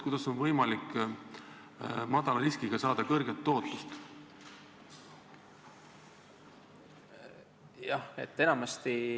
Kuidas on võimalik väikese riskiga saada suurt tootlust?